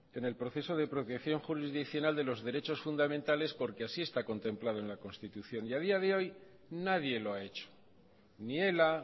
en el proceso de apropiación jurisdiccional de los derechos fundamentales porque así está contemplado en la constitución y a día de hoy nadie lo ha hecho ni ela